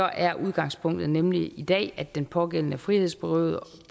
er udgangspunktet nemlig i dag at den pågældende frihedsberøves